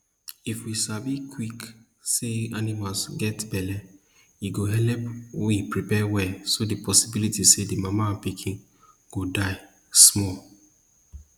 if we sabi quick sey animal get belle e go helep we prepare well so the possibility say the mama and pikin go die small